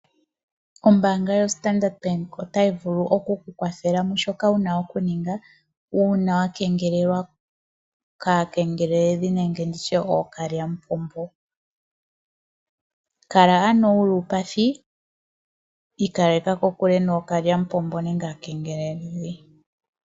Ombaanga yoStandard Bank otayi vulu oku ku kwathela mushoka wu na okuninga uuna wa kengelelwa kaakengeleledhi nenge kookalyamupombo. Kala ano wu li uupathi, ikaleka kokule nookalyamupombo.